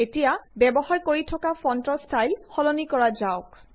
এতিয়া ব্যৱহাৰ কৰি থকা ফন্টৰ ষ্টাইল সলনি কৰা যাওঁক